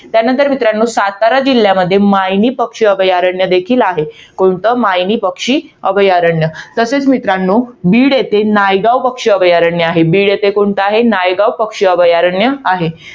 त्यानंतर मित्रांनो, सातारा जिल्ह्यामध्ये मायणी पक्षी अभयारण्य देखील आहे. कोणतं? मायणी पक्षी अभयारण्य. तसेच मित्रांनो, बीड येथील नायगाव पक्षी अभयारण्य आहे. बीड येथील कोणतं आहे? नायगाव पक्षी अभयारण्य आहे.